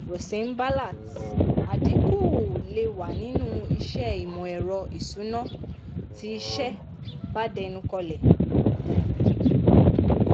rosenblatt: àdínkú lè wà nínú iṣẹ́ ìmọ̀-ẹ̀rọ ìsúná tí iṣẹ́ bá dẹnu kọlẹ̀.